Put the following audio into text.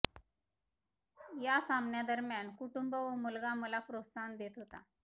या सामन्यादरम्यान कुटुंब व मुलगा मला प्रोत्साहन देत होता